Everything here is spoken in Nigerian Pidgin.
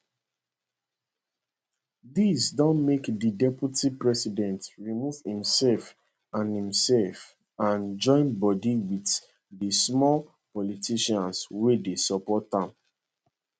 dis don make di deputy president remove imsef and imsef and join bodi wit di small politicians wey dey support am